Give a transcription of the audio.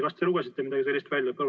Kas te lugesite midagi sellist välja?